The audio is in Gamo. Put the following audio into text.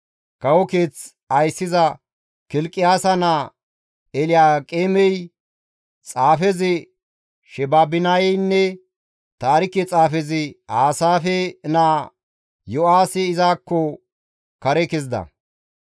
Kawo keeth ayssiza Kilqiyaasa naa Elyaaqeemey, xaafezi Sheebinaynne taarike xaafezi Aasaafe naa Yo7aahii izakko kare kezida.